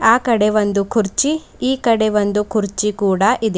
ಆ ಕಡೆ ಒಂದು ಕುರ್ಚಿ ಈ ಕಡೆ ಒಂದು ಕುರ್ಚಿ ಕೂಡ ಇದೆ.